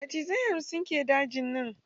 Macizai hamsin ke dajin nan.